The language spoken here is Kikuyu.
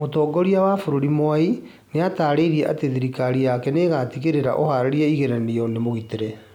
Mũtongoria wa bũrũri Mwai nĩatarĩirie atĩ thirikari yake nĩĩgũtigĩrĩra ũharĩrĩria igeranio nĩ mũgitĩre